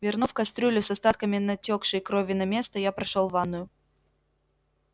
вернув кастрюлю с остатками натёкшей крови на место я прошёл в ванную